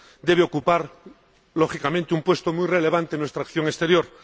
debe ocupar, lógicamente, un puesto muy relevante en nuestra acción exterior.